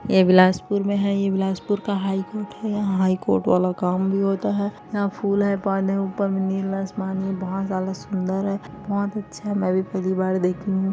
ये बिलासपुर मे हैं ये बिलासपुर का हाई कोर्ट है यहाँ हाईकोर्ट वाला काम भी होता है यहाँ फूल है पौधे ऊपर नीला आसमान है बहुत ज्यादा सुंदर है बहुत अच्छा में भी पहली बार देख रही हूँ।